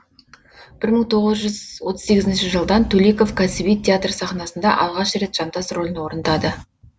бір мың тоғыз жүз отыз сегізінші жылдан төлеков кәсіби театр сахнасында алғаш рет жантас рөлін орындады